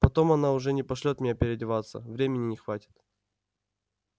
потом она уже не пошлёт меня переодеваться времени не хватит